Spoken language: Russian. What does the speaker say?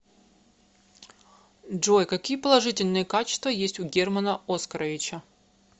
джой какие положительные качества есть у германа оскаровича